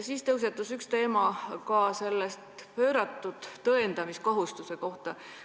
Meil tõusetus ka pööratud tõendamiskohustuse teema.